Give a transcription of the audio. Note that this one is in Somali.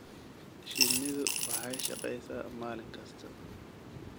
Shinnidu waxay shaqeysaa maalin kasta.